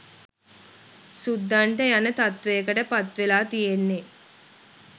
සුද්දන්ට යන තත්ත්වයකට පත්වෙලා තියෙන්නේ